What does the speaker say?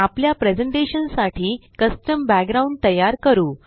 आपल्या प्रेज़ेंटेशन साठी custom background तयार करू